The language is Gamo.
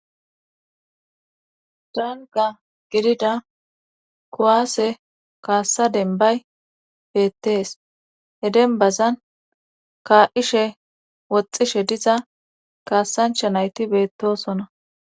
dalga gidida kowaase kaassa denbay beettees he denbazan kaa7ishe woxxishe diza kaassancha nayti beettosona